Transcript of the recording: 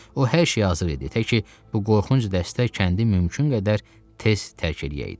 O hər şeyə hazır idi, təki bu qorxunc dəstə kəndi mümkün qədər tez tərk eləyəydi.